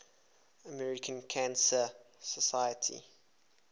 american cancer society